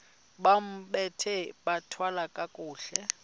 bambathe bathwale kakuhle